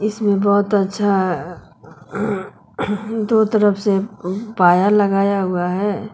इसमें बहोत अच्छा दो तरफ से पाया लगाया हुआ है।